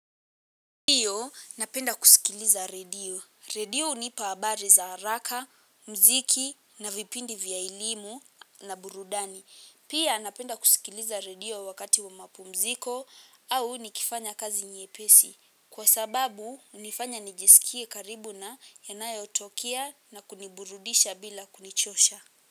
Iyo napenda kusikiliza redio. Redio hunipa habari za haraka, mziki na vipindi vya elimu na burudani. Pia napenda kusikiliza redio wakati wa mapu mziko au nikifanya kazi nyepesi. Kwa sababu hunifanya niji sikie karibu na yanayotokia na kuniburudisha bila kunichosha.